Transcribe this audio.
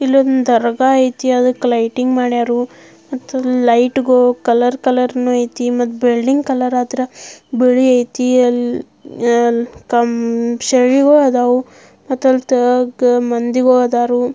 ಇಲ್ಲೊಂದು ದರ್ಗಾ ಐತಿ ಅದಕ್ ಲಿಟಿಂಗ್ ಮಾಡ್ಯರು ಮತ್ತು ಲೈಟ್ಗು ಕಲರ್ ಕಲರ್ನು ಐತಿ ಮತ್ ಬಿಲ್ಡಿಂಗ್ ಕಲರ್ ಆದ್ರ ಬಿಳಿ ಐತಿ ಆಮ್ ಕ ಆಮ್ ಸೈಡಿಗೂ ಅದಾವು ಮತ್ ಅದರಾಗ ಮಂದಿನು ಅದರ.